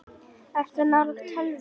Ertu nálægt tölvu?